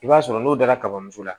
I b'a sɔrɔ n'o dara kaba moso la